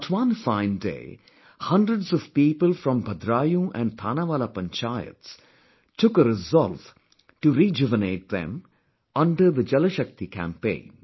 But one fine day, hundreds of people from Bhadraayun & Thanawala Panchayats took a resolve to rejuvenate them, under the Jal Shakti Campaign